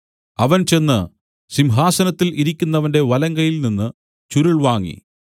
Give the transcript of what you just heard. അവൻ ചെന്ന് സിംഹാസനത്തിൽ ഇരിക്കുന്നവന്റെ വലങ്കയ്യിൽ നിന്നു ചുരുൾ വാങ്ങി